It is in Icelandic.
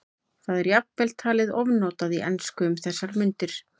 Það er jafnvel talið ofnotað í ensku um þessar mundir.